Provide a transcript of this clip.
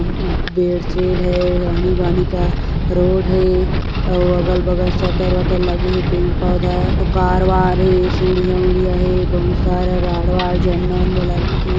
Bed sheet हैं आनी-बानी का रोड हैं औ अगल-बगल शटर वटर लगे हे अऊ पेड़-पौधा अऊ सीढ़िया-उढ़ीया हे बहुत सारा राड वाड झंडा उन्डा लगे हे।